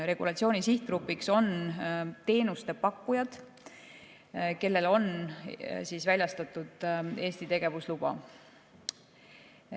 Regulatsiooni sihtgrupiks on teenusepakkujad, kellele on väljastatud Eesti tegevusluba.